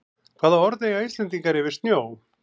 Hvaða orð eiga Íslendingar yfir snjó?